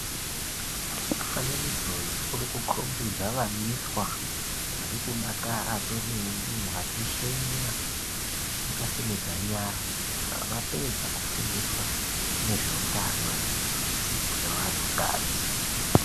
Fananidzo uyu uri kukombidza vaiswa vari kudakara kwemene vachishenya vakasimudze nyaRa avapedza kufundiswa ngezveutano zvevanhu kadzi.